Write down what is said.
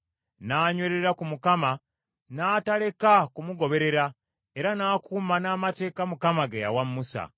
N’anywerera ku Mukama , n’ataleka kumugoberera, era n’akuuma n’amateeka Mukama ge yawa Musa.